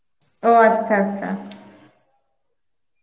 ও আচ্ছা আচ্ছা